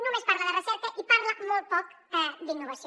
només parla de recerca i parla molt poc d’innovació